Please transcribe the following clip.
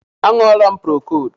A ṅụọlam procodu